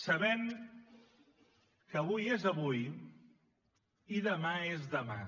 sabem que avui és avui i demà és demà